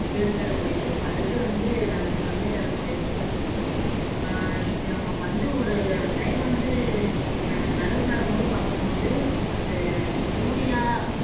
கேடு தரக்கூடியது பல இது வந்து நல்நன்மை தரக் கூடியதுன்னு கூட சொல்லலாம் அஹ் இங்வந்து ஒரு time வந்து அஹ் நடவு நடும்போது பாக்கும்போது அந்த urea